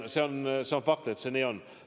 See on fakt, et see nii on.